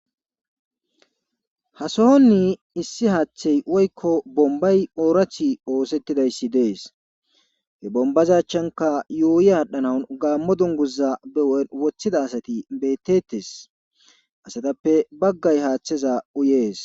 hasohonni issi haaththey woykko bombay oorathi oosettidayssi dees he bombazachanka yuuyi haadhdhanauw gaammo dunguza beo7en woththida asati bettettes asatappe baggay haaththeza uyees